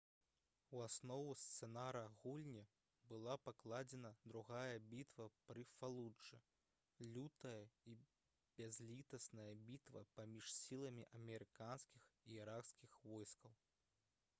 у аснову сцэнара гульні была пакладзена другая бітва пры фалуджы лютая і бязлітасная бітва паміж сіламі амерыканскіх і іракскіх войскаў